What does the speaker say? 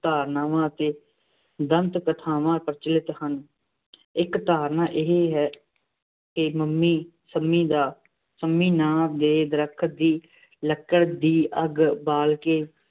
ਧਾਰਨਾਵਾਂ ਅਤੇ ਦੰਤ-ਕਥਾਵਾਂ ਪ੍ਰਚਲਿਤ ਹਨ। ਇੱਕ ਧਾਰਨਾ ਇਹ ਹੈ ਕਿ ਮੰਮੀ ਸੰਮੀ ਦਾ ਸੰਮੀ ਨਾਂ ਦੇ ਦਰਖ਼ਤ ਦੀ ਲੱਕੜ ਦੀ ਅੱਗ ਬਾਲ ਕੇ